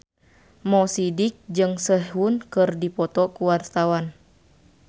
Mo Sidik jeung Sehun keur dipoto ku wartawan